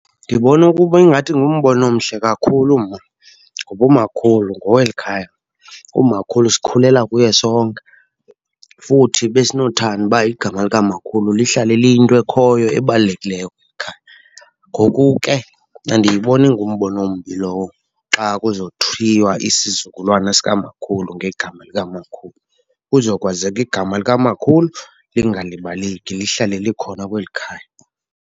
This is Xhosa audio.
Ndibona ukuba ingathi ngumbono omhle kakhulu mna. Ngoba umakhulu ngowelikhaya, umakhulu sikhulela kuye sonke. Futhi besinothanda uba igama likamakhulu lihlale liyinto ekhoyo ebalulekileyo kweli khaya. Ngoku ke andiyiboni ingumbono ombi lowo, xa kuzothiywa isizukulwana sikamakhulu ngegama likamakhulu. Kuzokwazeka igama likamakhulu lingalibaleki, lihlale likhona kweli khaya.